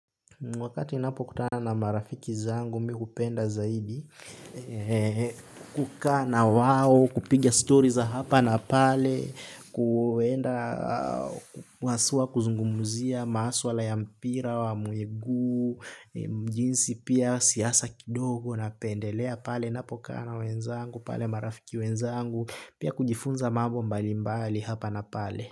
Wakati napokutana na marafiki zangu, mi upenda zaidi. Kukana wao, kupiga stories hapa na pale. Kuenda, wasuwa kuzungumuzia maaswa la ya mpira, wa muigu. Mjinsi pia siasa kidogo napendelea pale. Napo kana wenzangu, pale marafiki wenzangu. Pia kujifunza mabo mbali mbali hapa na pale.